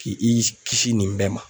K'i i kisi nin bɛɛ ma